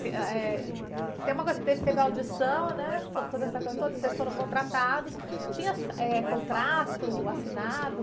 ãh, eh, tem uma coisa, que teve audição, né? Toda, toda essa coisa toda, vocês foram contratados, tinha, eh, contrato assinado?